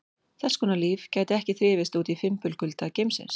Þess konar líf gæti ekki þrifist úti í fimbulkulda geimsins.